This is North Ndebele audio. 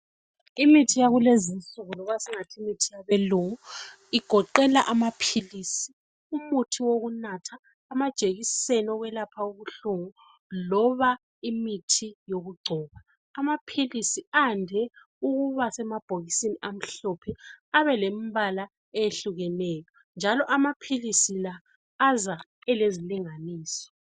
Imithi yakulezinsuku loba singathi imithi yabelungu igoqela amaphilisi, umuthi wokunatha , amajekiseni okwelapha ubuhlungu loba imithi yokugcoba. Amaphilisi ayande ukuba semabhokisini amhlophe abelembala ehlukeneyo njalo amaphilisi la aza elezilinganiso.